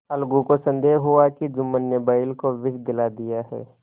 अलगू को संदेह हुआ कि जुम्मन ने बैल को विष दिला दिया है